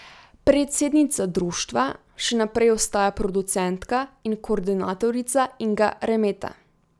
Predsednica društva še naprej ostaja producentka in koordinatorica Inga Remeta.